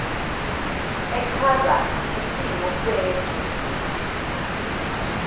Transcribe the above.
echaza isimo sezwe